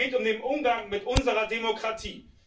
Es geht um den Umgang mit unserer Demokratie.